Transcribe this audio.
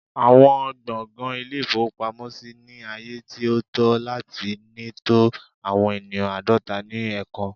Awọn gbọngàn Ilé-ìfowópamọ́sí ni aaye ti o to lati ni to awọn eniyan aadọta ni ẹẹkan